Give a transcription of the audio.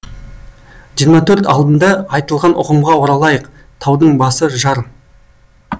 жиырма төрт алдында айтылған ұғымға оралайық таудың басы жар